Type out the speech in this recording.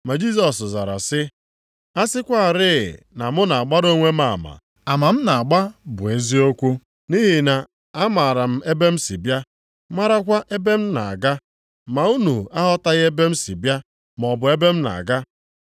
Ma Jisọs zara sị, “A sịkwarị na mụ na-agbara onwe m ama, ama m na-agba bụ eziokwu. Nʼihi na-amara m ebe m si bịa, marakwa m ebe m na-aga. Ma unu aghọtaghị ebe m si bịa, maọbụ ebe m na-aga.